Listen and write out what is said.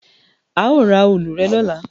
A o ra òòlù rẹ lọla